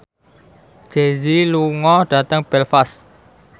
Jay Z lunga dhateng Belfast